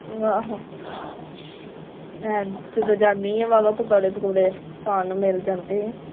ਆਹੋ ਮੈ ਜਦੋ ਜਾਣੀ ਆ ਵਾਵਾ ਪਕੌੜੇ ਪਕੁੜੇ ਖਾਨ ਨੂੰ ਮਿਲ ਜਾਂਦੇ ਆ।